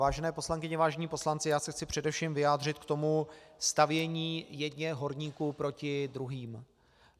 Vážené poslankyně, vážení poslanci, já se chci především vyjádřit k tomu stavění jedněch horníků proti druhým.